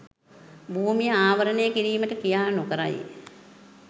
භූමිය ආවරණය කිරීමට ක්‍රියා නොකරයි